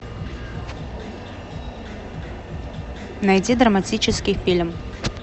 найти драматический фильм